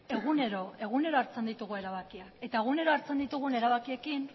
egunero egunero hartzen ditugu erabakiak eta egunero hartzen ditugun erabakiekin